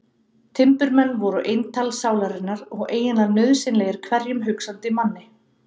Timburmenn voru eintal sálarinnar og eiginlega nauðsynlegir hverjum hugsandi manni.